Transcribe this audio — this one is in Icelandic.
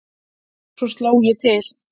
Svo sló ég til.